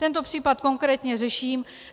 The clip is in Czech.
Tento případ konkrétně řeším.